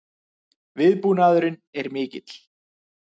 Viðbúnaðurinn er mikill